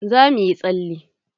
Za muyi tsale.